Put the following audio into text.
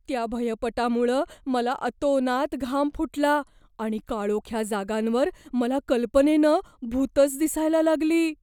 त्या भयपटामुळं मला अतोनात घाम फुटला आणि काळोख्या जागांवर मला कल्पनेनं भुतंच दिसायला लागली.